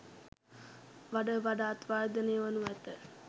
වඩ වඩාත් වර්ධනය වනු ඇත.